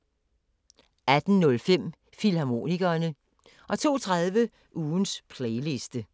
18:05: Filmharmonikerne 02:30: Ugens Playliste